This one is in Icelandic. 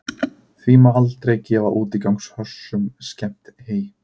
því má aldrei gefa útigangshrossum skemmt hey